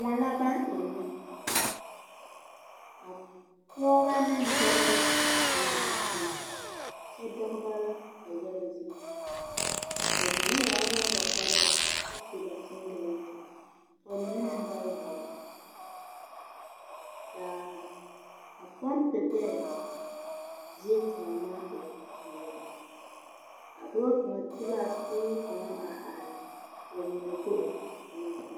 Kõɔ la baŋ ennɛ a pɔɔbɔ neŋ dɔbɔ la tonɔ a tomma kyɛ dogba a yaga zie ba mine yagreɛɛ ba kpareɛɛ kyɛ su ba sengilɛnte ka ba mine meŋ ba yagre kaa a pɔmpe gbɛɛ zie kaŋa maŋ e peɛlaa a dɔɔ kaŋa te laa kuruu kaŋa are ka ba mine go a tonɔ a tomma.